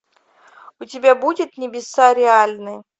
у тебя будет небеса реальны